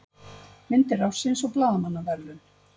Myndir ársins og blaðamannaverðlaun